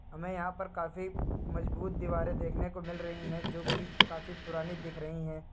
हमें यहां पर काफी मजबूत दीवारें देखने को मिल रही है जो की काफी पुरानी दिख रही है।